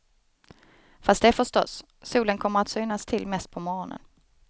Fast det förstås, solen kommer att synas till mest på morgonen.